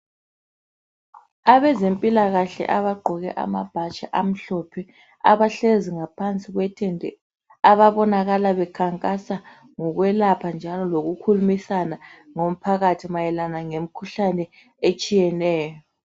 Abezempilakahle abagqoke amabhatshi amhlophe abahlezi ngaphansi kwe thende ababonakala bekhankasa ngokwelapha njalo lokukhulumisana lomphakathi mayelana lemkhuhlane etshiyeneyo.